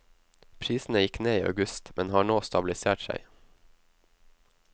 Prisene gikk ned i august, men har nå stabilisert seg.